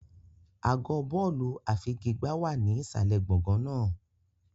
Àgọ́ bọ́ọ̀lù àfigigbá wà ní ìsàlẹ̀ gbọ̀ngàn náà.